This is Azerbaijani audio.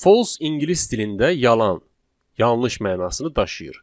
False ingilis dilində yalan, yanlış mənasını daşıyır.